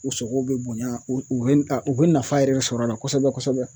U sogow bɛ bonya u bɛ a u bɛ nafa yɛrɛ sɔrɔ a la kosɛbɛ kosɛbɛ